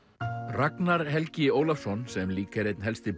Ragnar Helgi Ólafsson sem líka er helsti